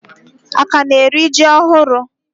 Aka na eri ji ohuru